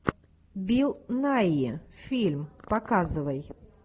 билл найи фильм показывай